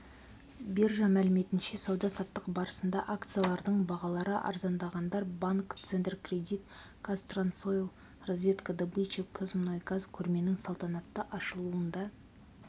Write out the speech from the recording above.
биржа мәліметінше сауда-саттық барысында акцияларының бағалары арзандағандар банк центркредит казтрансойл разведка добыча казмунайгаз көрменің салтанатты ашылуында